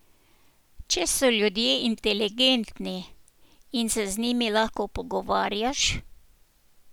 Če so ljudje inteligentni in se z njimi lahko pogovarjaš...